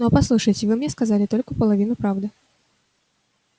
но послушайте вы мне сказали только половину правды